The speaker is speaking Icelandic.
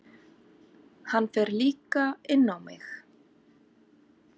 Hann fer líka inn á mig.